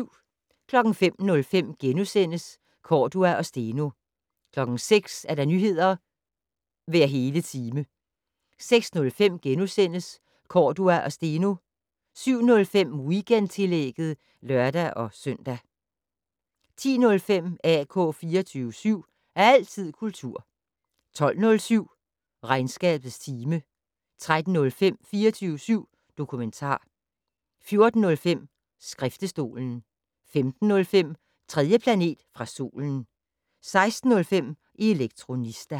05:05: Cordua og Steno * 06:00: Nyheder hver hele time 06:05: Cordua og Steno * 07:05: Weekendtillægget (lør-søn) 10:05: AK 24syv. Altid kultur 12:07: Regnskabets time 13:05: 24syv dokumentar 14:05: Skriftestolen 15:05: 3. planet fra solen 16:05: Elektronista